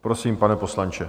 Prosím, pane poslanče.